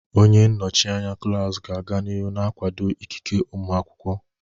Onye nnọchi anya klaasị ga-aga n'ihu na-akwado ikike ụmụ akwụkwọ.